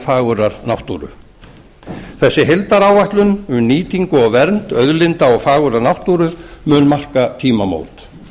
fagurrar náttúru þessi heildaráætlun um nýtingu og vernd auðlinda og fagurrar náttúru mun marka tímamót